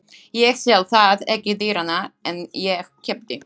Ég sel það ekki dýrara en ég keypti.